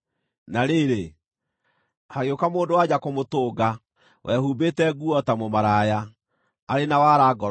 Na rĩrĩ, hagĩũka mũndũ-wa-nja kũmũtũnga, wehumbĩte nguo ta mũmaraya, arĩ na wara ngoro-inĩ.